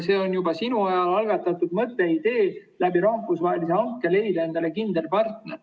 See on juba sinu ajal algatatud mõte, idee, et rahvusvahelise hanke abil leida kindel partner.